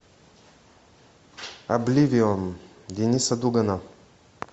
обливион денниса дугана